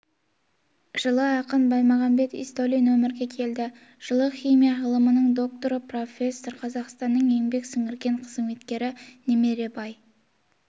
жылы ақын баймағамбет ізтөлин өмірге келді жылы химия ғылымының докторы профессор қазақстанның еңбек сіңірген қызметкері немеребай